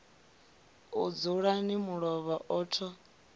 a dzulani mulovha a tho